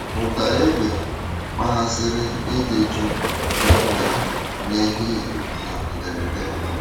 Ụ̀da égbé kpaghasìrì ịdị jụụ e nwerè n’ehihie na mberèdè.